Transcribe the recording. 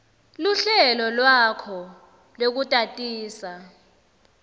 luhlelo lwakho lwekutatisa